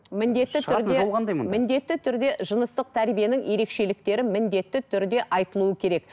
міндетті түрде жыныстық тәрбиенің ерекшеліктерін міндетті түрде айтылуы керек